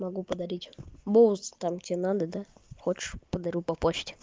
могу подарить бусы там тебе надо да хочешь подарю по почте